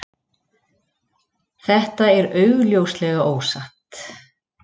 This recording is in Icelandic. þetta er augljóslega ósatt